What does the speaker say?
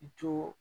I to